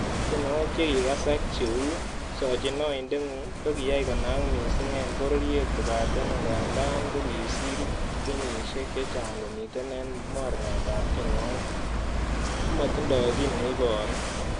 Tionwogik che kikasak cheu "sochin oindeng'ung"kokiyai konak missing en bororiet kobaten angandan kokisir kenyisiek chechang komiten en mornetab tienwogik, Komotindoi kiy neiboru.